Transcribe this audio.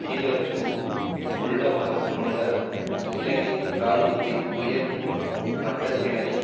கீழறுக்கும் உள்நோக்கம் கொண்ட இலங்கை இராணுவத்தின் உயர் மட்டத்தினரின்